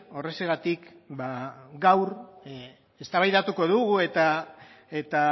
horrexegatik gaur eztabaidatuko dugu eta